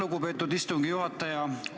Lugupeetud istungi juhataja!